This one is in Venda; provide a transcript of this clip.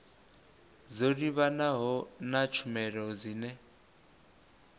dzo livhanaho na tshumelo dzine